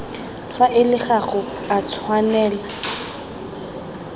faele ga go a tshwanela